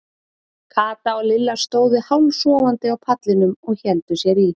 Kata og Lilla stóðu hálfsofandi á pallinum og héldu sér í.